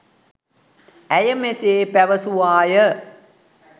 ඇය මෙසේ පැවැසුවාය.